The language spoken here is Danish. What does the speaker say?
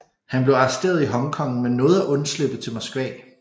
Han blev arresteret i Hong Kong men nåede at undslippe til Moskva